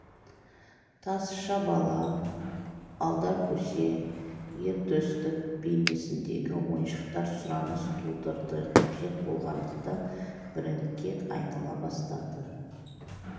тазша бала алдар көсе ер төстік бейнесіндегі ойыншықтар сұраныс тудырды қажет болғандықтан брендке айнала бастады